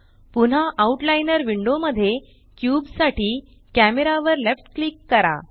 पुन्हा outliner window मध्ये cube साठी कॅमेरा वर लेफ्ट क्लिक करा